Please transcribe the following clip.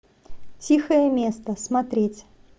тихое место смотреть